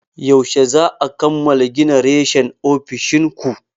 Yaushe za'a kammala gina reshen ofishin ku?